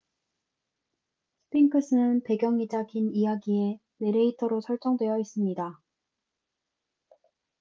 스핑크스는 배경이자 긴 이야기의 내레이터로 설정되어 있습니다